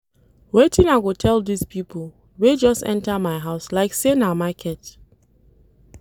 Wetin I go tell dese pipo wey just enta my house like sey na market.